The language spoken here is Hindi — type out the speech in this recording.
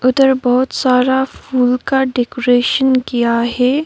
अदर बहोत सारा फूल का डेकोरेशन किया है।